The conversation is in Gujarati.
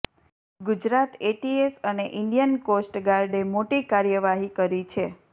ગુજરાત એટીએસ અને ઈન્ડિયન કોસ્ટ ગાર્ડે મોટી કાર્યવાહી કરી છે